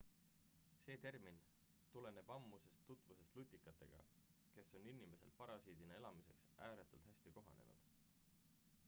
see termin tuleneb ammusest tutvusest lutikatega kes on inimesel parasiidina elamiseks ääretult hästi kohanenud